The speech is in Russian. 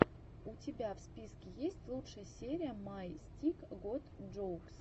у тебя в списке есть лучшая серия май стик гот джоукс